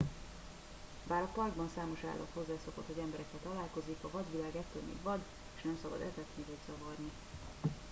bár a parkban számos állat hozzászokott hogy emberekkel találkozik a vadvilág ettől még vad és nem szabad etetni vagy zavarni